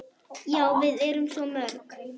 Já, við erum svo mörg.